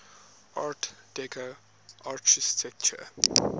art deco architecture